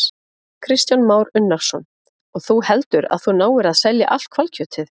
Kristján Már Unnarsson: Og þú heldur að þú náir að selja allt hvalkjötið?